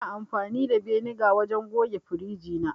Ina amfani da beniga wajen goge firiji na